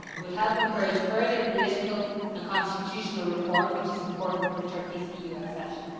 It would help encourage further political and constitutional reform which is important for Turkey's EU accession.